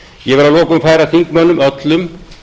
ég vil að lokum færa þingmönnum öllum